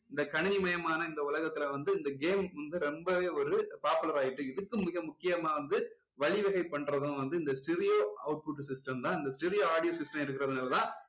இந்த கணினிமயமான இந்த உலகத்துல வந்து இந்த game வந்து ரொம்பவே ஒரு popular ஆகிட்டு இதுக்கு மிக முக்கியமா வந்து வழிவகை பண்றதும் வந்து இந்த stereo output system தான் இந்த stereo audio system இருக்குறதுனால தான்